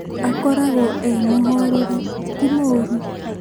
Akoragwo e mũhoreri ti mũru